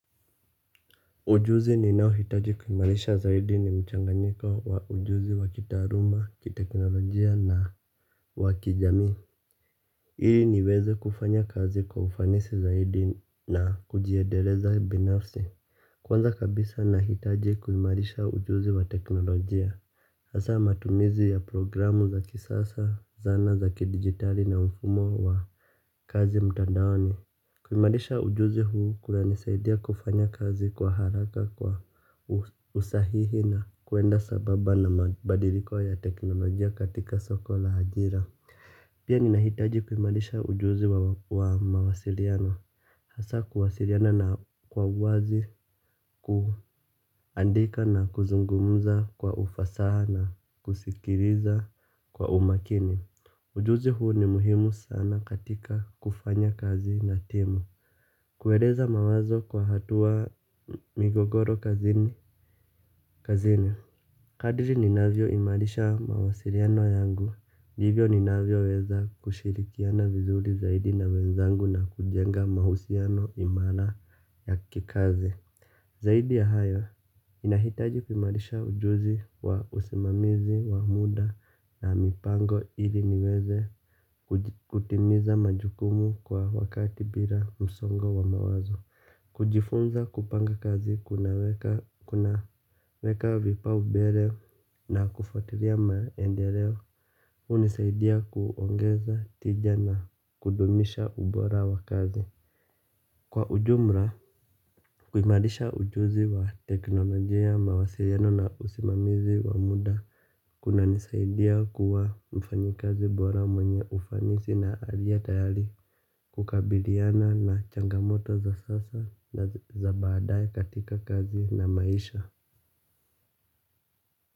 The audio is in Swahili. Ujuzi ni nao hitaji kuimarisha zaidi ni mchanganiko wa ujuzi wa kitaaluma, kiteknolojia na wakijamii. Ili niweze kufanya kazi kwa ufanisi zaidi na kujiendeleza binafsi. Kwanza kabisa nahitaji kuimarisha ujuzi wa teknolojia. Hasa matumizi ya programu za kisasa, zana za kidigitali na mfumo wa kazi mtandaoni. Kuimarisha ujuzi huu kunanisaidia kufanya kazi kwa haraka kwa usahihi na kuenda sambamba na mabadiliko ya teknolojia katika soko la ajira. Pia ninahitaji kuimarisha ujuzi wa mawasiliano. Hasa kuwasiliana na kwa uwazi kuandika na kuzungumza kwa ufasaha na kusikiliza kwa umakini. Ujuzi huu ni muhimu sana katika kufanya kazi na timu. Kueleza mawazo kwa hatua migogoro kazini kazini. Kadiri ninavyo imarisha mawasiliano yangu ndivyo ninavyoweza kushirikiana vizuri zaidi na wenzangu na kujenga mahusiano imara ya kikazi. Zaidi ya hayo ninahitaji kuimarisha ujuzi wa usimamizi wa muda na mipango ili niweze kutimiza majukumu kwa wakati bila msongo wa mawazo. Kujifunza kupanga kazi kunaweka vipaumbele na kufuatilia maendeleo hunisaidia kuongeza tija na kudumisha ubora wa kazi. Kwa ujumla, kuimarisha ujuzi wa teknolojia, mawasiliano na usimamizi wa muda kuna nisaidia kuwa mfanyikazi bora mwenye ufanisi na aliye tayari kukabiliana na changamoto za sasa na za baadae katika kazi na maisha.